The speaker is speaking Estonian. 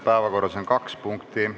Päevakorras on kaks punkti.